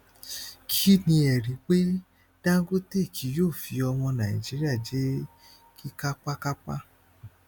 kí ni ẹrí pé dangote kì yóò fi ọmọ nàìjíríà jẹ kíkápákápá